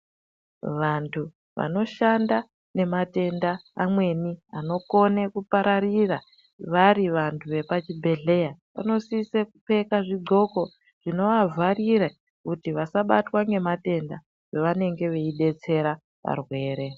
Vantu vanoshanda nematenda amweni anokone kupararira vari vantu vepachibhedhleya vonisisa kupfeka zvidxoko zvinovavharire kuti vasabatwa ngematenda pavanenge veidetsereka varwere.